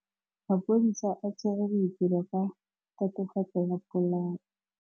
Maphodisa a tshwere Boipelo ka tatofatsô ya polaô.